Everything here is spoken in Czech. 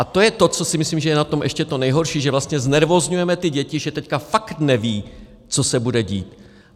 A to je to, co si myslím, že je na tom ještě to nejhorší, že vlastně znervózňujeme ty děti, že teď fakt nevědí, co se bude dít.